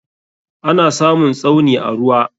Ana samun Tsauni a ruwa.